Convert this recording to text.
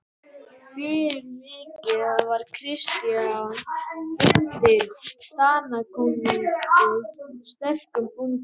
Fyrir vikið var Christian bundinn Danakonungi sterkum böndum.